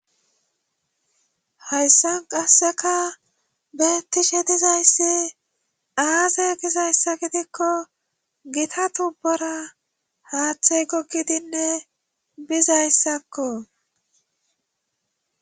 hayssan qasseka betishshe dizayssi aaze gizayssa gidikko gita tubbora haththey gogidinne bizayssako.